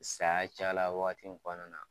Saya cayala waati in fana na